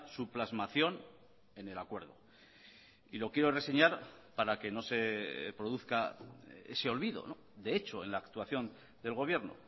su plasmación en el acuerdo y lo quiero reseñar para que no se produzca ese olvido de hecho en la actuación del gobierno